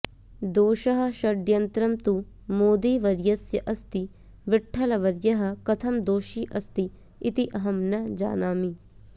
दोषः षड्यन्त्रं तु मोदीवर्यस्य अस्ति विठ्ठलवर्यः कथं दोषी अस्ति इति अहं न जानामि